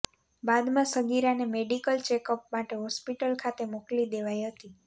બાદમાં સગીરાને medical checkup માટે હોસ્પિટલ ખાતે મોકલી દેવાઇ હતી